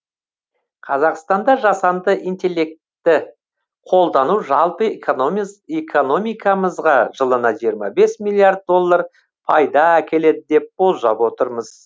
қазақстанда жасанды интеллектті қолдану жалпы экономикамызға жылына жиырма бес миллиард доллар пайда әкеледі деп болжап отырмыз